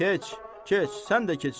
Keç, keç, sən də keç içəri.